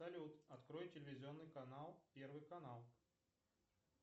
салют открой телевизионный канал первый канал